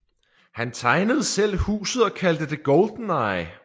Han tegnede selv huset og kaldte det GoldenEye